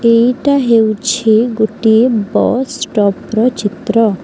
ଏଇଟା ହେଉଛି ଗୋଟିଏ ବସ୍ ଷ୍ଟପ୍ ର ଚିତ୍ର।